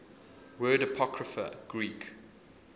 word apocrypha greek